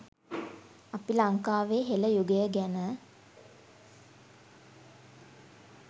අපි ලංකාවේ හෙළ යුගය ගැන